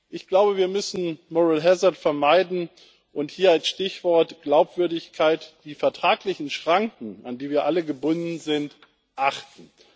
Ich glaube, wir müssen moral hazard vermeiden, und hier als Stichwort Glaubwürdigkeit die vertraglichen Schranken, an die wir alle gebunden sind, achten.